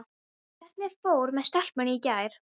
Hvernig fór með stelpuna í gær?